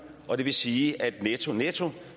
og det vil sige at der netto netto